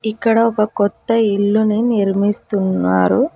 ఇక్కడ ఒక కొత్త ఇల్లు ని నిర్మిస్తున్నారు.